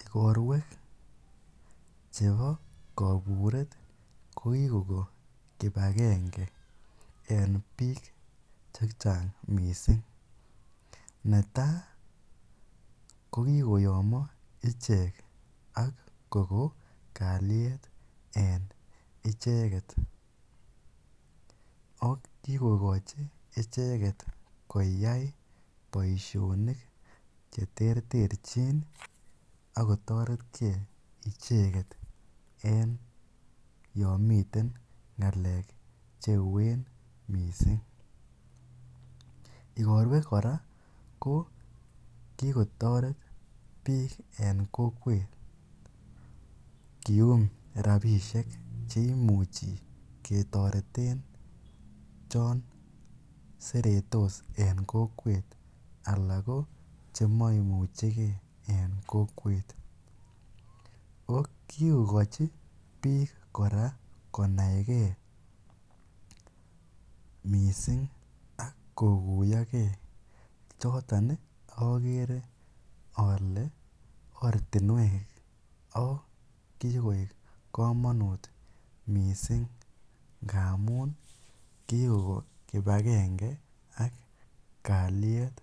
Ikorwek chebo koburet ko kikoko kibakenge en biik chechang mising, netaa ko kikoyomo ichek ak kokon kaliet en icheket ak kikokochi icheket koyai boishonik cheterterchin ak kotoretke icheket en yoon miten ngalek cheuen mising, ikorwek kora ko kikotoret biik en kokwet kium rabishek cheimuchi ketoreten choon seretos en kokwet alaa ko chemoimucheke en kokwet, oo kikochi biik kora konaike mising ak kokuiyoke choton okere olee ortinwek oo kikoik komonut mising ngamun kikoko kibakenge ak kaliet